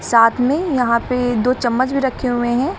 साथ में यहां पे दो चम्मच भी रखे हुए हैं।